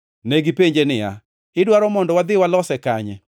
Negipenje niya, “Idwaro mondo wadhi walose kanye?”